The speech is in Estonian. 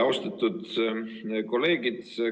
Austatud kolleegid!